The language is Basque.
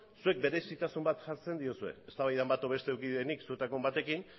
zuek berezitasun bat jartzen diozue eztabaidaren bat edo beste eduki dut nik zuetako batekin